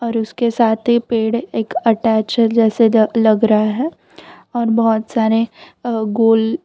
उसके साथ ही पेड़ एक अटैच है जैसे र लग रहा है और बहोत सारे अ गोल--